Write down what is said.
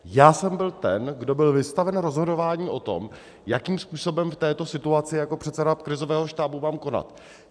Já jsem byl ten, kdo byl vystaven rozhodování o tom, jakým způsobem v této situaci jako předseda krizového štábu mám konat.